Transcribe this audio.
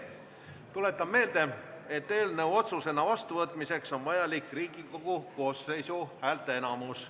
Tuletan meelde, et eelnõu otsusena vastuvõtmiseks on vajalik Riigikogu koosseisu häälteenamus.